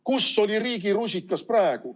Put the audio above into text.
Kus oli riigi rusikas siis?